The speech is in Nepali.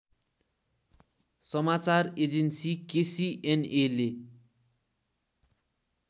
समाचार एजेन्सी केसीएनएले